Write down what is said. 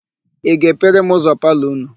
Ị ga-epere m ụzọ palọ ụnụ?